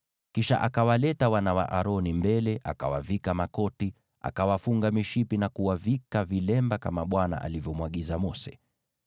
Kisha akawaleta wana wa Aroni mbele, akawavika makoti, akawafunga mishipi na kuwavika vilemba, kama Bwana alivyomwagiza Mose.